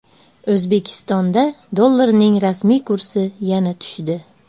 O‘zbekistonda dollarning rasmiy kursi yana tushdi.